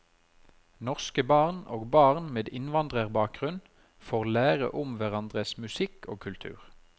Norske barn og barn med innvandrerbakgrunn får lære om hverandres musikk og kultur.